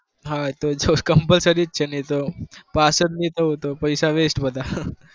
હા એ તો જો compulsory છે નહિ તો પાસ જ નહિ થાવ તો પૈસા waste બધા.